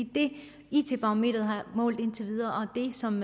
det it barometeret har målt indtil videre og det som